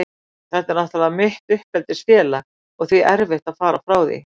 Þetta er náttúrlega mitt uppeldisfélag og því erfitt að fara frá því.